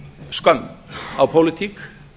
skömm á pólitík